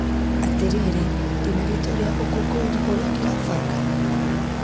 Atĩrĩrĩ ,ndĩna rĩtwa rĩa ũkũngũiri ũria ndĩrabanga?